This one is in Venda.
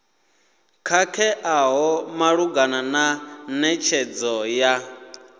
khakheaho malugana na netshedzo ya